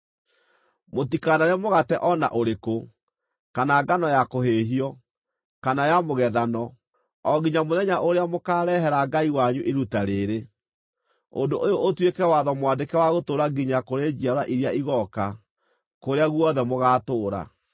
Mũtikanarĩe mũgate o na ũrĩkũ, kana ngano ya kũhĩĩhio, kana ya mũgethano, o nginya mũthenya ũrĩa mũkaarehera Ngai wanyu iruta rĩĩrĩ. Ũndũ ũyũ ũtuĩke watho mwandĩke wa gũtũũra nginya kũrĩ njiarwa iria igooka, kũrĩa guothe mũgaatũũra.